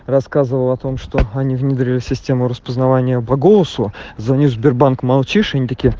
рассказывал о том что они внедрили систему распознавания по голосу звоню сбербанк молчишь они такие